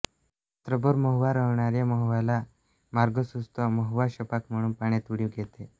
रात्रभर महुआ रडणाऱ्या महूआला मार्ग सूचतो महुआ छपाक म्हणून पाण्यात उडी घेते